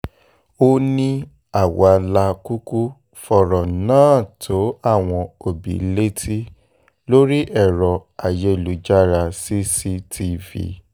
ó ní àwa la kúkú fọ̀rọ̀ náà tó àwọn òbí létí lórí ẹ̀rọ ayélujára v cctv